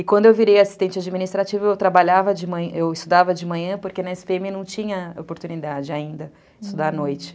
E quando eu virei assistente administrativa, eu trabalhava de manhã, eu estudava de manhã, porque na esse pê eme não tinha oportunidade ainda, estudar à noite.